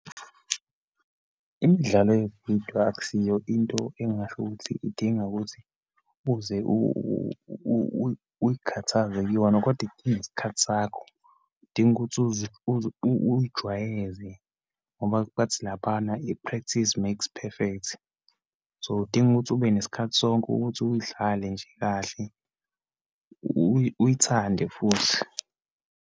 Imidlalo yevidiyo akusiyo into engingasho ukuthi idinga ukuthi uze uyikhathaze kuyona, kodwa idinga isikhathi sakho. Idinga ukuthi uzijwayeze ngoba bathi laphana, i-practice makes peferct. So, idinga ukuthi ube nesikhathi sonke ukuthi uyidlale nje kahle, uyithande futhi.